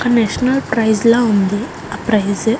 ఏదో national prize లా ఉంది ఆ ప్రైస్ .